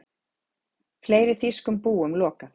Fleiri þýskum búum lokað